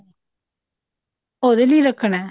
ਉਹਦੇ ਲਈ ਰੱਖਣਾ